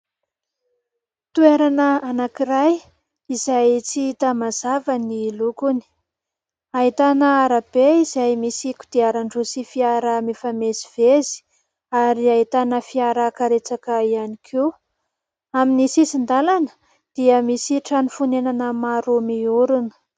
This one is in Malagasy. Toerana anankiray izay tsy hita mazava ny lokony, ahitana arabe izay misy kodiaran-droa sy fiara mifamezivezy ary ahitana fiara karetsaka ihany koa. Amin'ny sisin-dalana dia misy trano fonenana maro miorina.